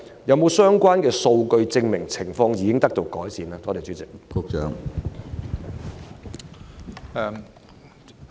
有否相關數據證明情況已經得到改善？